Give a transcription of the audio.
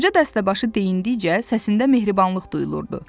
Qoca dəstəbaşı deyindikcə səsində mehribanlıq duyulurdu.